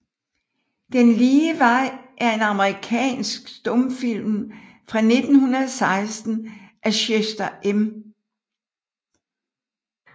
Den lige vej er en amerikansk stumfilm fra 1916 af Chester M